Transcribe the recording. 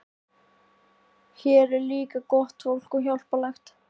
Hér er líka gott fólk og hjálplegt.